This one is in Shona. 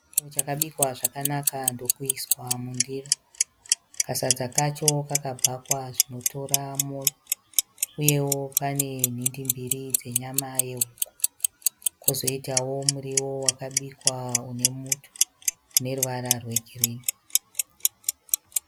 Chikafu chakabikwa zvakanaka ndokuiswa mundiro. Kasadza kacho kakabhakwa zvinotora mwoyo uyewo pane nhindi mbiri dzenyama yehuku kwozoiitawo muriwo wakabikwa une muto une ruvara rwegirinhi.